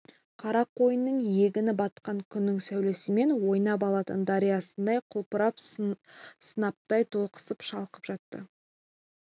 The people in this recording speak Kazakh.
қарақойынның егіні батқан күннің сәулесімен ойнап алтын дариясындай құлпырып сынаптай толықсып шалқып жатты